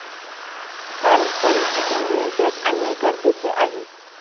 कारण परिस्थिती नियंत्रणात आणणे गरजेचे आहे.